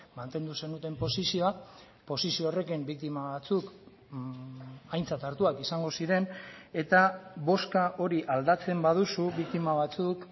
mantendu zenuten posizioa posizio horrekin biktima batzuk aintzat hartuak izango ziren eta bozka hori aldatzen baduzu biktima batzuk